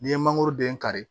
N'i ye mangoro den kari